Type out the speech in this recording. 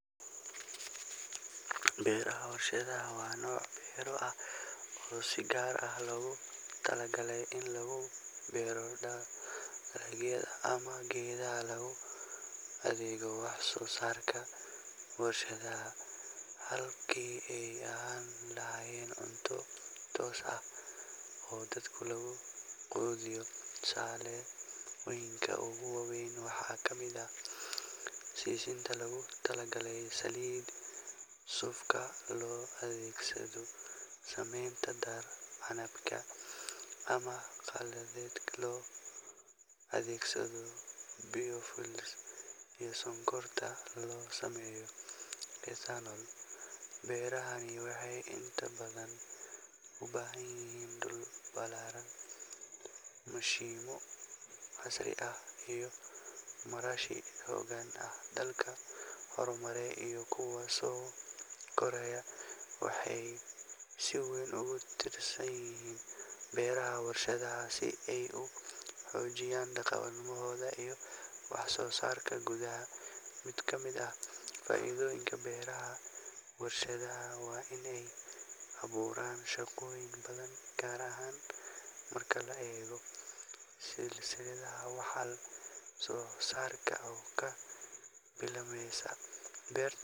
Beeraha warshado waaa noc beero ah oo si gaar ah logu talagalay ini lugu beero dalagyada ama geedaha lugu adeegga wax soo sarka warshadaha halkii ay ahani lahayeen cunto toos ah oo dadka lugu qudiyo tusaaloyinka ogu waweyn waxa kamid ah sisinta logu talagalay saliida, suufka loo adeegsado shamimta canabka ama halka loo adeegsado biyo iyo sonkorta loo sameeyo ethanol, beerahani waxay inta badan ubahan yihiin dhul balaaran mashimo casri ah iyo marashi hogan ah dalka horumare iyo kuwo so koraya waxay si weyn ogu tirsan yihiin beeraha warshada xoojiyan dan qabadahooda iyo wax soo sarka gudaha, mid kamid ah faa'iidoyinka beeraha warshadaha waa inay abuuran shaqooyin badan gaar ahan marka la eego silsilada wax soo sarka abuurka